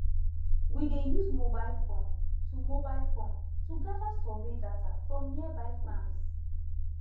we dey use mobile form to mobile form to gather survey data from nearby farms